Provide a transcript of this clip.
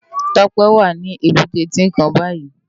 Tope wá ni ébùté Tinkán bàyí